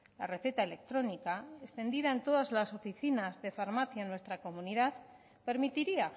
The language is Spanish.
la receta electrónica extendida en todas las oficinas de farmacia en nuestra comunidad permitiría